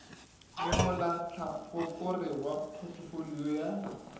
le molahlakore wa photofolio ya